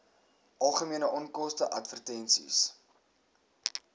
algemene onkoste advertensies